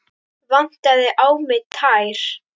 Vantaði á mig tær?